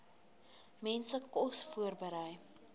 mense kos voorberei